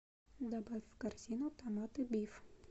добавь в корзину томаты биф